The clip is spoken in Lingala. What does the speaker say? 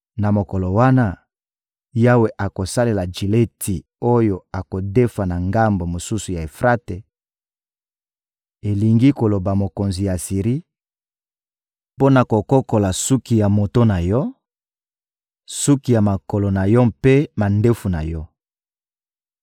Na mokolo wana, Yawe akosalela jileti oyo akodefa na ngambo mosusu ya Efrate, elingi koloba mokonzi ya Asiri, mpo na kokokola suki ya moto na yo, suki ya makolo na yo mpe mandefu na yo.